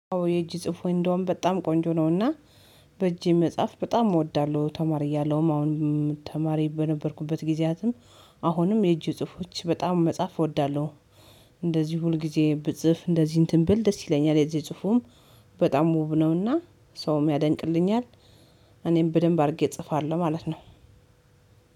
የእጅ ጽሁፌ እንደውም በጣም ቆንጆ ነው እና በእጄ መጻፍ በጣም እወዳለሁ። ተማሪ እያለሁም አሁን ተማሪ በነበርኩበት ጊዜያትም አሁንም የእጅ ጽፎች በጣም መጻፍ እወዳለሁ። እንደዚህ ሁልጊዜ ብጽፍ እንደዚህ እንትን ብል ደስ ይለኛል የዚህ የጽፉም በጣም ውብ ነው እና ሰውም ያደንቅልኛል። እኔም በደንብ አድርጌ እጽፋለሁ ማለት ነው።